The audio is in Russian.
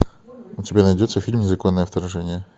у тебя найдется фильм незаконное вторжение